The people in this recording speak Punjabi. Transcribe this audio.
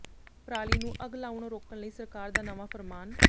ਪਰਾਲੀ ਨੂੰ ਅੱਗ ਲਾਉਣੋਂ ਰੋਕਣ ਲਈ ਸਰਕਾਰ ਦਾ ਨਵਾਂ ਫਰਮਾਨ